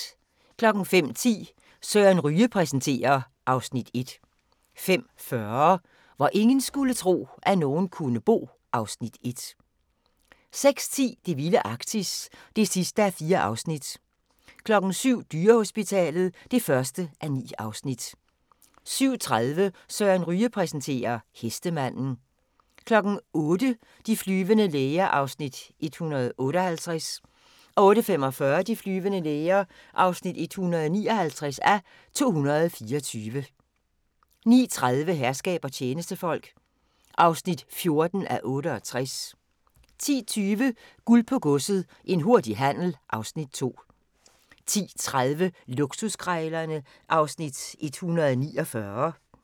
05:10: Søren Ryge præsenterer (Afs. 1) 05:40: Hvor ingen skulle tro, at nogen kunne bo (Afs. 1) 06:10: Det vilde Arktis (4:4) 07:00: Dyrehospitalet (1:9) 07:30: Søren Ryge præsenterer: Hestemanden 08:00: De flyvende læger (158:224) 08:45: De flyvende læger (159:224) 09:30: Herskab og tjenestefolk (14:68) 10:20: Guld på Godset – en hurtig handel (Afs. 2) 10:30: Luksuskrejlerne (Afs. 149)